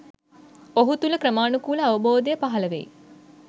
ඔහු තුළ ක්‍රමානුකූල අවබෝධය පහළ වෙයි